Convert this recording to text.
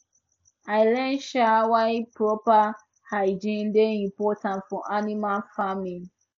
i learn um why proper hygiene dey important for animal farming